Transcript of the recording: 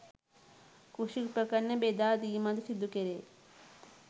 කෘෂි උපකරණ බෙදා දීමක් ද සිදු කෙරේ.